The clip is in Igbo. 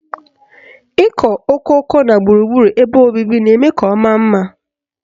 Ịkọ okooko na gburugburu ebe obibi na-eme ka ọ maa mma.